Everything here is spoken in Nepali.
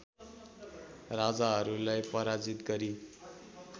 राजाहरूलाई पराजित गरी